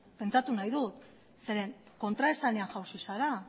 pentsatu nahi dut zeren kontraesanean jausi zara